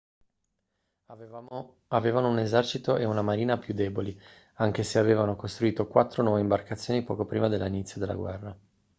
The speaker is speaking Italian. avevano un esercito e una marina più deboli anche se avevano costruito quattro nuove imbarcazioni poco prima dell'inizio della guerra